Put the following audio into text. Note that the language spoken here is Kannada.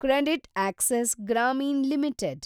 CreditAccess Grameen limited